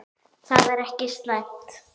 Það er ekki slæmt.